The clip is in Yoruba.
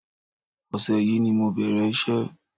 Ọṣẹ yìí ni mo bẹ̀rẹ̀ iṣẹ́